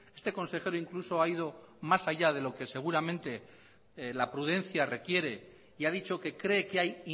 este consejero incluso ha ido más allá de lo que seguramente la prudencia requiere y ha dicho que cree que hay